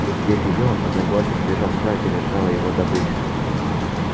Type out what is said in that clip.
и съев её одноглазый побежал туда где лежала его добыча